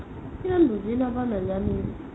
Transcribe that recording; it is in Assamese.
কিন্তু নেপাও নেজানো